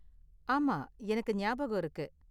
ஆமா, எனக்கு நியாபகம் இருக்கு.